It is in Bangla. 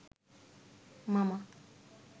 মামা